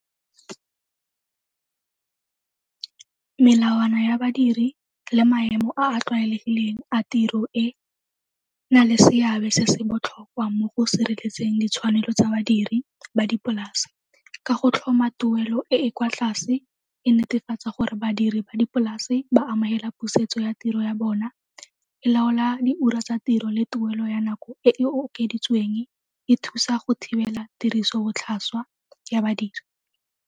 Melawana ya badiri le maemo a a tlwaelegileng a tiro e na le seabe se se botlhokwa mo go sireletseng ditshwanelo tsa badiri ba dipolase. Ka go tlhoma tuelo e e kwa tlase e netefatsa gore badiri ba dipolase ba amogela pusetso ya tiro ya bona. E laola di ura tsa tiro le tuelo ya nako e e okeditsweng, e thusa go thibela tirisobotlhaswa ya badiri.